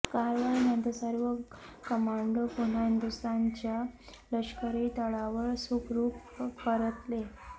कारवाईनंतर सर्व कमांडो पुन्हा हिंदुस्थानच्या लष्करी तळावर सुखरूप परतले